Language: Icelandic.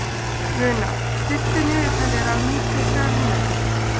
Luna, stilltu niðurteljara á níutíu og þrjár mínútur.